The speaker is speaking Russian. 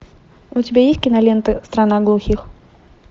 у тебя есть киноленты страна глухих